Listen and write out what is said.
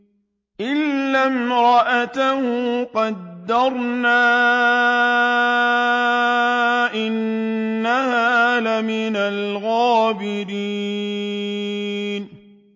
إِلَّا امْرَأَتَهُ قَدَّرْنَا ۙ إِنَّهَا لَمِنَ الْغَابِرِينَ